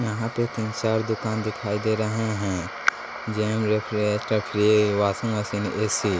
यहाँ पे तीन चार दुकान दिखाई दे रहे हैं जेम रेफरेटर फ्री वाशिंग मशीन ए_सी ।